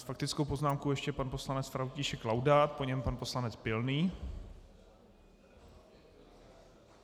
S faktickou poznámkou ještě pan poslanec František Laudát, po něm pan poslanec Pilný.